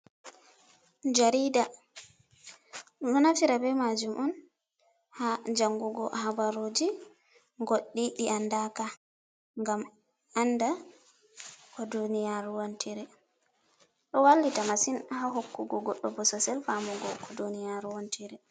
Jarida, ɗum ɗo naftira be majum on ha jangugo habaruji, goɗɗi ɗi andaka ngam anda ko duniyaru wontiri. ɗo wallita masin ha hokkugo goɗɗo bososel famugo ko duniyaru wontiri.